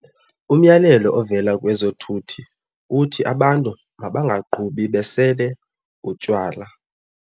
Umyalelo ovela kwezothuthi uthi abantu mabangaqhubi besele utywala.